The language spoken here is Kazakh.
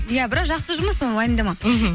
иә бірақ жақсы жұмыс ол уайымдама мхм